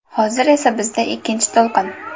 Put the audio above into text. Hozir esa bizda ikkinchi to‘lqin.